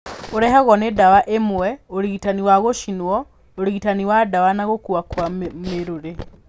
Ũrehagwo nĩ ndawa imwe, ũrigitani wa gũcinwo, ũrigitani wa ndawa na gũkua kwa mĩrũrĩ.